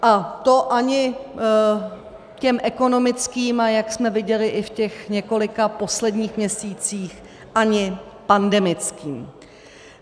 A to ani těm ekonomickým, a jak jsme viděli i v těch několika posledních měsících, ani pandemickým.